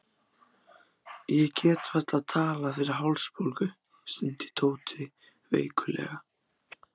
Ég get varla talað fyrir hálsbólgu, stundi Tóti veiklulega.